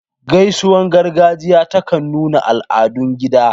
Gaisuwar gargajiya ta kan nuna al'adun gida.